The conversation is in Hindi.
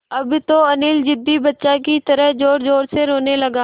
अब तो अनिल ज़िद्दी बच्चों की तरह ज़ोरज़ोर से रोने लगा